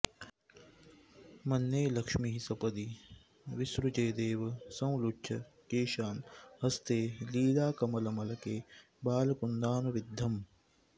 मन्ये लक्ष्मीः सपदि विसृजेदेव संलुच्य केशान् हस्ते लीलाकमलमलके बालकुन्दानुविद्धम्